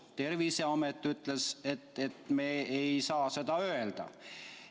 Terviseamet ütles, et me ei saa seda öelda.